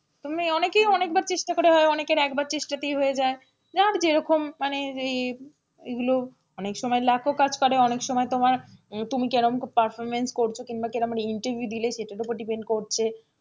তেমনি অনেকেই অনেকবার চেষ্টা করে হয় অনেকের একবার চেষ্টাতেই হয়ে যায় যার যেরকম মানে এগুলো অনেকসময় luck ও কাজ করে অনেকসময় তোমার তুমি কেরম performance করছো কিংবা কেরম interview দিলে সেটার ওপর depend করছে,